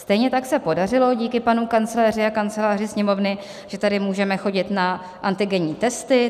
Stejně tak se podařilo díky panu kancléři a kanceláři Sněmovny, že tady můžeme chodit na antigenní testy.